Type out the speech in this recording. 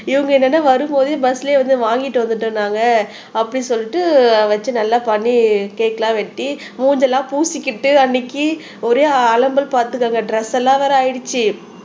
இவங்க என்னன்னா வரும்போதே பஸ்லயே வந்து வாங்கிட்டு வந்துட்டோம் நாங்க அப்படின்னு சொல்லிட்டு வச்சு நல்லா பண்ணி கேக் எல்லாம் வெட்டி மூஞ்சியெல்லாம் பூசிக்கிட்டு அன்னைக்கு ஒரே அலம்பல் பாத்துக்கங்க டிரஸ் எல்லாம் வேற ஆயிடுச்சு